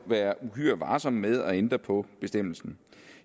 være uhyre varsom med at ændre på bestemmelsen